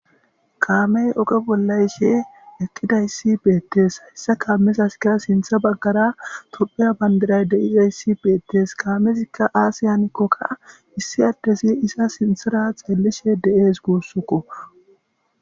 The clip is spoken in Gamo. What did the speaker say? kaamey oge bollayshe eqqidayssi beettes hayssa kaamezaskara sintha baggara tophiya bandiray deizayssi beettes kaamezikka aasiyanikkokka issi addesi isa sinthara xeellishe de7ees guussukko